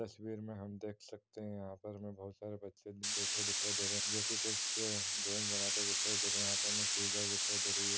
इस तस्वीर में हम देख सकते है यहाॅं पर हमें बोहोत सारे बच्चे बैठे दिखाई दे रहे हैं जो कि कुछ ड्रॉइंग बनाते हुये दिखाई दे रहे हैं यहाॅं पर हमें सीज़र दिखाई दे रही है।